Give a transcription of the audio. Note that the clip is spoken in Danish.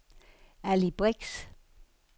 Ali Brix